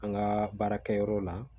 An ka baarakɛyɔrɔ la